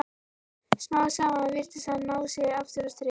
Smám saman virtist hann ná sér aftur á strik.